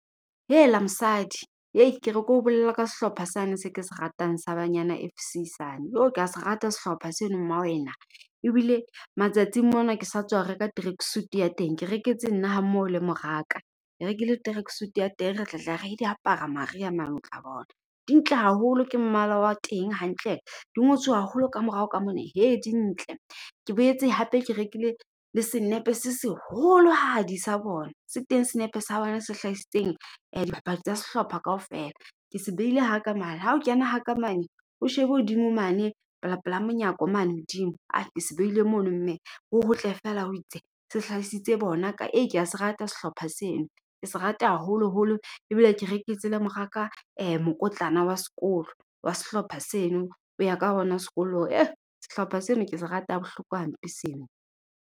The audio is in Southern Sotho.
Hela mosadi, hei ke re keo bolelle ka sehlopha sane se ke se ratang sa Banyana F_C sane. Ka se rate sehlopha seno mma wena, ebile matsatsing mona ke sa tswa reka tracksuit ya teng. Ke reketse nna ha mmoho le mora ka, ke rekile tracksuit ya teng. Re tla tla re di apara maria mang, o tla bona. Di ntle haholo ke mmala wa teng hantle di ngotswe haholo ka morao ka mona hee di ntle. Ke boetse hape ke rekile le senepe se seholohadi sa bona. Se teng senepe sa bone se hlahisitseng dibapadi tsa sehlopha kaofela. Ke se beile haka mane ha o kena haka mane, o shebe hodimo mane pela, pela monyako mane hodimo. Ke se beile mono mme ho hotle feela ho itse, se hlaisitse bona ka . Kea se ratela sehlopha sena, ke se rata haholoholo ebile ke rektse le moraka mokotlana wa sekolo wa sehlopha seno. O ya ka ona sekolong. Sehlopha seno ke se rata ha bohloko hampe seno.